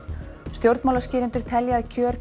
stjórnmálaskýrendur telja að kjör